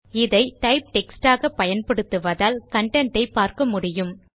இதை type text ஆக பயன்படுத்துவதால் கன்டென்ட் ஐ பார்க்க முடியும்